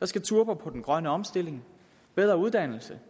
der skal turbo på den grønne omstilling og bedre uddannelse